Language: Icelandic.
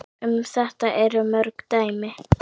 Um þetta eru mörg dæmi.